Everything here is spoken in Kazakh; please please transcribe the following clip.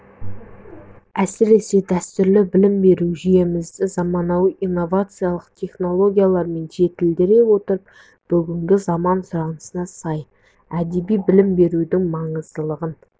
әсіресе дәстүрлі білім беру жүйемізді заманауи инновациялық технологиямен жетілдіре отырып бүгінгі заман сұранысына сай әдеби білім берудің маңыздылығын